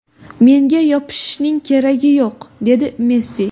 Menga yopishishning keragi yo‘q”, dedi Messi.